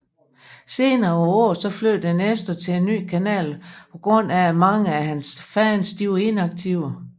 Senere på året flyttede Nestor til en ny kanal på grund af at mange af hans fans var inaktive